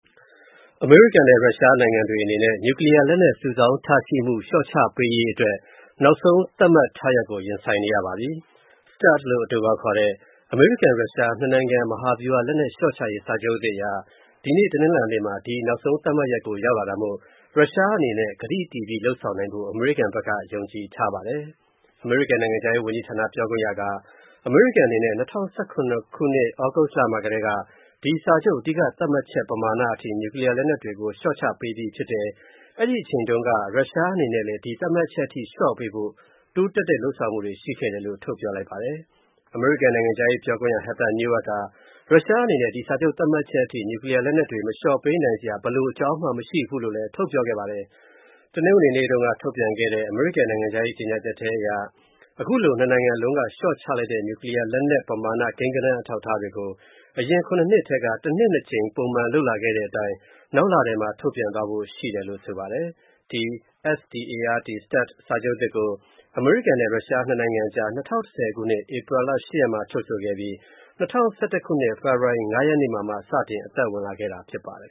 အမေရိကန်နဲ့ ရုရှား နိုင်ငံတွေအနေနဲ့ နျူကလီးယား လက်နက်စုဆောင်းထားရှိမှု လျော့ချပေးရေးအတွက် နောက်ဆုံး သတ်မှတ်ရက်ကို ရင်ဆိုင်နေရပါပြီ။ START လို့ အတိုခေါက်ခေါ်တဲ့ အမေရိကန်-ရုရှား နှစ်နိုင်ငံ မဟာဗျူဟာလက်နက်လျော့ချရေးစာချုပ်သစ်အရ ဒီနေ့ တနင်္လာနေ့မှာ ဒီ နောက်ဆုံးသတ်မှတ်ရက်ကို ရောက်တာမို့ရုရှားအနေနဲ့ ကတိတည်ပြီး လုပ်ဆောင်နိုင်ဖို့ အမေရိကန်ဖက်က ယုံကြည်ထားပါတယ်။ အမေရိကန် နိုင်ငံခြားရေးဝန်ကြီးဌာန ပြောခွင့်ရက အမေရိကန်အနေနဲ့ ၂၀၁၇ ခုနှစ် သြဂုတ်လမှာကတည်းက ဒီ စာချုပ် အဓိက သတ်မှတ်ချက် ပမာဏအထိ နျူကလီယာလက်နက်တွေကို လျော့ချပေးပြီးဖြစ်တယ်၊ အဲ့ဒိအချိန်တုံးက ရုရှားအနေနဲလည်း ဒီ သတ်မှတ်ချက်အထိ လျော့ပေးဖို့ တိုးတက်တဲ့ လုပ်ဆောင်မှုတွေရှိခဲ့တယ်လို့ ထုတ်ပြောလိုက်ပါတယ်။ အမေရိကန်နိုင်ငံခြားရေးပြောခွင့်ရ Heather Nauert က ရုရှားအနေနဲ့ ဒီ စာချုပ် သတ်မှတ်ချက်အထိ နျူကလီယာလက်နက်တွေ မလျော့ချပေးနိုင်စရာ ဘယ်လို အကြောင်းမှ မရှိဘူးလို့လဲ ထုတ်ပြောခဲ့ပါတယ်။ တနင်္ဂနွေနေ့ကထုတ်ပြန်တဲ့ အမေရိကန်နိုင်ငံခြားရေး ကြေညာချက်ထဲမှာ ခုလိုနှစ်နိုင်ငံလုံးက လျော့ချလိုက်တဲ့ နျူကလီယာလက်နက် ကိန်းဂဏန်းအထောက်အထားတွေကို အရင် နှစ်ထဲက တနှစ် ကြိမ်လုပ်လာခဲ့တဲ့အတိုင်း နောက်လထဲမှာ ထုတ်ပြန်သွားဖို့ရှိတယ်လို့ ဆိုပါတယ်။ ဒီ START စာချုပ်သစ်ကို အမေရိကန်နဲ့ ရုရှား နှစ်နိုင်ငံအကြား ၂၀၁၀ ခုနှစ် ဧပြီလ ရက်မှာ ချုပ်ဆိုခဲ့ပြီး၊ ၂၀၁၁ ခုနှစ် ဖေဖော်ဝါရီ ၅ ရက်နေ့မှာ စတင်အသက်ဝင်လာခဲ့တာဖြစ်ပါတယ်